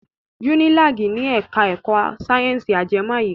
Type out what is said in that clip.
Unilag ni ẹ̀ka ẹ̀kọ́ sáyẹ̀nsì ajẹmọ́ àyíká.